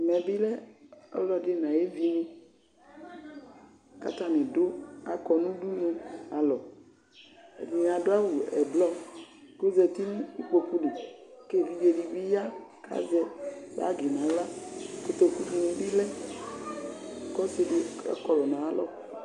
Ɛmɛ bɩ lɛ ɔlɔdi n'ayevi ni k'atani akɔ nʋ udunu alɔ Ɛdɩnɩ adu awʋ ɛblɔ, k'azǝti nʋ ikpoku li K'evidze di bɩ ya, k'azɛ bagi n'aɣla Kotoku dini bɩ lɛ k'ɔsi di ɔkɔlʋ n'ayalɔ